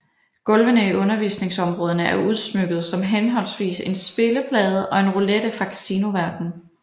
Gulvene i undervisningsområderne er udsmykkede som henholdsvis en spilleplade og en roulette fra Casinoverdenen